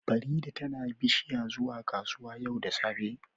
Farida tana bishiya zuwa kasuwa yau da safe